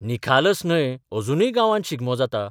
निखालस न्हय अजुनूय गांवांत शिगमो जाता.